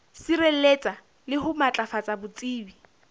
sireletsa le ho matlafatsa botsebi